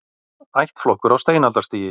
Ættflokkur á steinaldarstigi